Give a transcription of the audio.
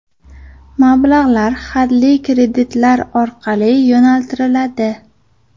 Mablag‘lar hadli kreditlar orqali yo‘naltiriladi.